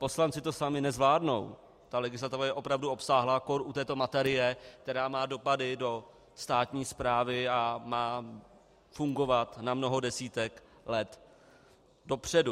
Poslanci to sami nezvládnou, ta legislativa je opravdu obsáhlá, kór u této materie, která má dopady do státní správy a má fungovat na mnoho desítek let dopředu.